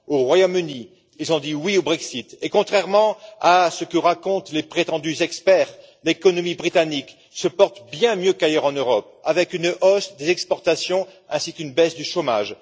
Au Royaume Uni, ils ont dit oui au Brexit et, contrairement à ce que racontent les prétendus experts, l'économie britannique se porte bien mieux qu'ailleurs en Europe, avec une hausse des exportations ainsi qu'une baisse du chômage.